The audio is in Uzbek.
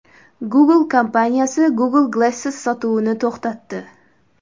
Google kompaniyasi Google Glass sotuvini to‘xtatdi.